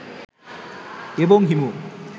এবং হিমু